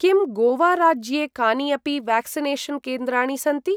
किं गोवा राज्ये कानि अपि व्याक्सिनेषन् केन्द्राणि सन्ति?